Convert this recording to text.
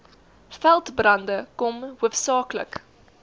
veldbrande kom hoofsaaklik